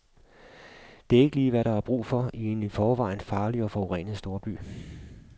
Det er ikke lige, hvad der er brug for i en i forvejen farlig og forurenet storby.